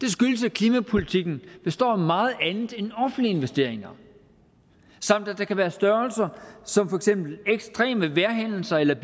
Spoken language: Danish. det skyldes at klimapolitikken består af meget andet end offentlige investeringer samt at der kan være størrelser som for eksempel ekstreme vejrhændelser eller